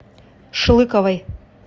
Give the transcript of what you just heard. шлыковой